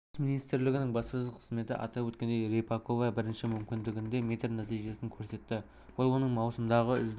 қорғаныс министрлігінің баспасөз қызметі атап өткендей рыпакова бірінші мүмкіндігінде метр нәтижесін көрсетті бұл оның маусымдағы үздік